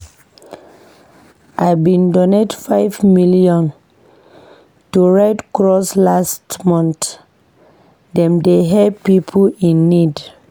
I bin donate five million to Red Cross last month, dem dey help pipo in need.